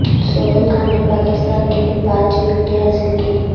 سہیل خان نے پاکستان کے لیے پانچ وکٹیں حاصل کیں